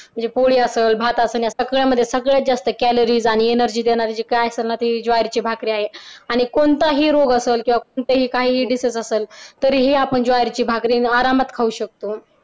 म्हणजे पोळी असंल भात असलं या सगळ्यांमध्ये सगळ्यात जास्त कॅलरीज आणि energy देणारी काय असणार ते ज्वारीची भाकरी आहे आणि कोणताही रोग असेल किंवा कोणताही काही disease असलं तरीही आपण ज्वारीची भाकरी आरामात खाऊ शकतो